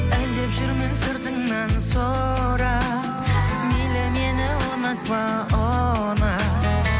іздеп жүрмін сыртыңнан сұрап мейлі мені ұнатпа ұнат